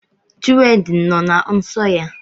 Chinwendu nọ na nsọ ya.